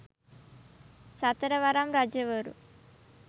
සතර වරම් රජ වරු